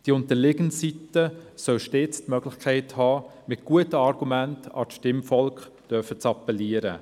Die unterliegende Seite soll stets die Möglichkeit haben, mit guten Argumenten an das Stimmvolk zu appellieren.